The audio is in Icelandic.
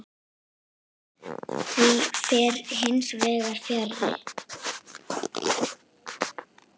Því fer hins vegar fjarri.